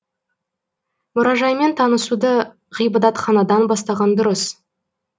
мұражаймен танысуды ғибадатханадан бастаған дұрыс